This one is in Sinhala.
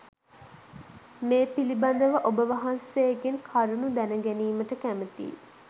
මේ පිළිබඳව ඔබ වහන්සේගෙන් කරුණු දැන ගැනීමට කැමැතියි.